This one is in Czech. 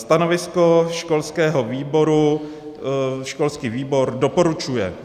Stanovisko školského výboru, školský výbor doporučuje.